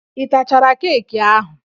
Ị tachara keeki ahụ?